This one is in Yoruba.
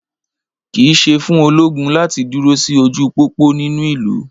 kìí ṣe fún ológun láti duro sí ojú pópó nínú ìlú